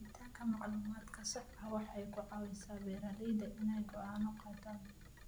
Helitaanka macluumaadka saxda ah waxay ka caawisaa beeralayda inay go'aano qaataan.